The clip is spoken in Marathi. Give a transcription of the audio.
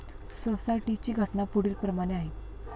सोसायटी ची घटना पुढील प्रमाणे आहे.